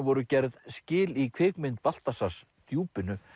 voru gerð skil í kvikmynd Baltasars Djúpinu